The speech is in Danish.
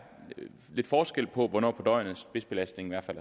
lidt forskel på hvornår på døgnet spidsbelastningen er